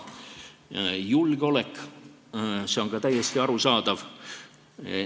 Julgeolek – see on ka täiesti arusaadav.